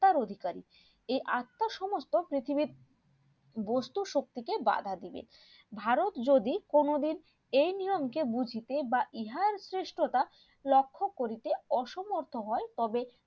অধিকারী এর আত্ম সমস্ত পৃথিবীর বস্তু শক্তি কে বাধা দিবে ভারত যদি কোনো দিন এই নিয়ম কে বুঝিতে বা ইহার সৃষ্টতা লক্ষ্য করিতে অসর্মত হয়ে তবে